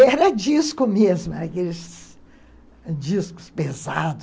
Era disco mesmo, aqueles discos pesados